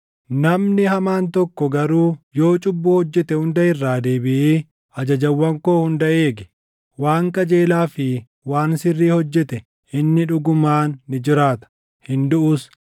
“Namni hamaan tokko garuu yoo cubbuu hojjete hunda irraa deebiʼee ajajawwan koo hunda eegee, waan qajeelaa fi waan sirrii hojjete inni dhugumaan ni jiraata; hin duʼus.